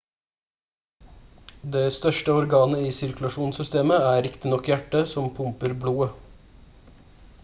det største organet i sirkulasjonssystemet er riktignok hjertet som pumper blodet